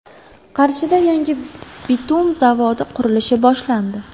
Qarshida yangi bitum zavodi qurilishi boshlandi.